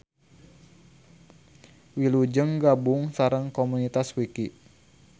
Wilujeng gabung sareng komunitas Wiki.